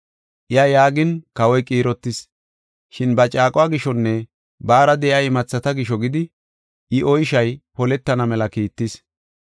Iya yaagin kawoy qiirotis, shin ba caaquwa gishonne baara de7iya imathata gisho gidi I oyshay poletana mela kiittis.